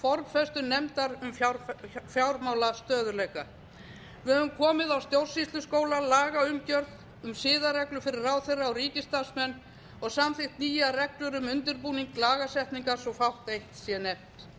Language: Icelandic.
formfestu nefndar um fjármálastöðugleika við höfum komið á stjórnsýsluskóla lagaumgjörð um siðareglur fyrir ráðherra og ríkisstarfsmenn og samþykkt nýjar reglur um undirbúning lagasetningar svo fátt eitt sé nefnt við höfum